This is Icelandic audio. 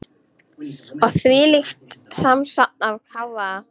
Og þvílíkt samsafn af hávaða.